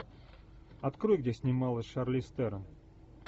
открой где снималась шарлиз терон